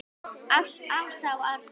Ása og Árni.